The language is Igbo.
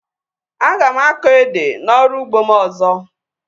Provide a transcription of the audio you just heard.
Aga m akọ ede na ọrụ ugbo m ọzọ